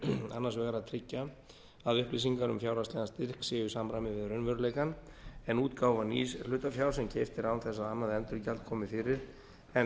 annars vegar að tryggja að upplýsingar um fjárhagslegan styrk séu í samræmi við raunveruleikann en útgáfa nýs hlutafjár sem keypt er án þess að annað endurgjald komi fyrir en